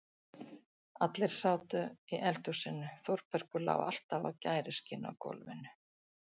Allir sátu í eldhúsinu, Þórbergur lá alltaf á gæruskinni á gólfinu.